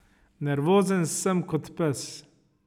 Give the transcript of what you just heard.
Nervozen sem kot pes.